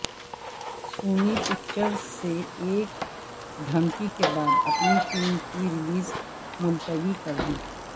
سونی Pictures نے ایک دھمکی کے بعد اپنی فلم کی ریلیز ملتوی کردی ہے